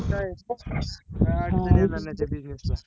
काय अडचण नाय जाणार त्या business ला